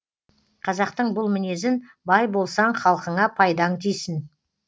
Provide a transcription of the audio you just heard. қазақтың бұл мінезін бай болсаң халқыңа пайдаң тисін